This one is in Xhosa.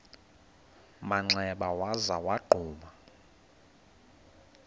manxeba waza wagquma